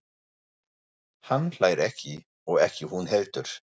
Hann hlær ekki og ekki hún heldur.